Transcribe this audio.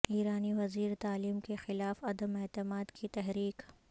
ایرانی وزیر تعلیم کے خلاف عدم اعتماد کی تحریک